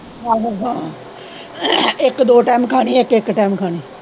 ਆਹੋ ਹਾਂ ਇੱਕ ਦੋ ਟਾਇਮ ਖਾਣੀ ਇੱਕ ਇੱਕ ਟਾਇਮ ਖਾਣੀ।